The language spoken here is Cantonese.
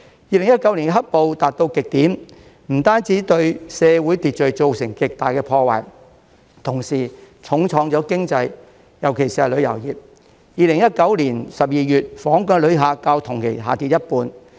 2019年"黑暴"達到極點，不但對社會秩序造成極大破壞，同時重創經濟，尤其是旅遊業 ，2019 年12月，訪港遊客較去年同期下跌一半。